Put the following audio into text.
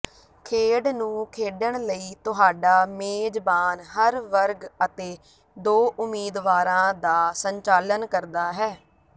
ਖੇਡ ਨੂੰ ਖੇਡਣ ਲਈ ਤੁਹਾਡਾ ਮੇਜਬਾਨ ਹਰ ਵਰਗ ਅਤੇ ਦੋ ਉਮੀਦਵਾਰਾਂ ਦਾ ਸੰਚਾਲਨ ਕਰਦਾ ਹੈ